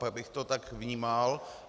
Pak bych to tak vnímal.